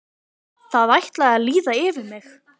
Það ætlaði að líða yfir mig.